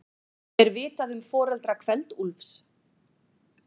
Er vitað um foreldra Kveld-Úlfs?